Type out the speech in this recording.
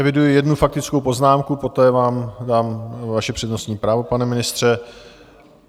Eviduji jednu faktickou poznámku, poté vám dám vaše přednostní právo, pane ministře.